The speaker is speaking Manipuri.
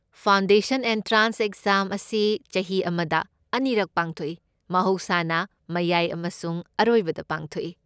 ꯐꯥꯎꯟꯗꯦꯁꯟ ꯑꯦꯟꯇ꯭ꯔꯥꯟꯁ ꯑꯦꯛꯖꯥꯝ ꯑꯁꯤ ꯆꯍꯤ ꯑꯃꯗ ꯑꯅꯤꯔꯛ ꯄꯥꯡꯊꯣꯛꯏ, ꯃꯍꯧꯁꯥꯅ ꯃꯌꯥꯏ ꯑꯃꯁꯨꯡ ꯑꯔꯣꯏꯕꯗ ꯄꯥꯡꯊꯣꯛꯏ꯫